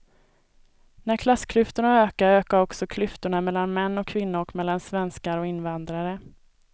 När klassklyftorna ökar, ökar också klyftorna mellan män och kvinnor och mellan svenskar och invandrare.